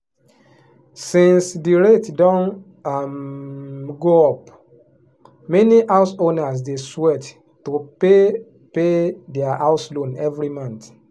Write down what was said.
since the rate don um go up many house owners dey sweat to pay pay their house loan every month.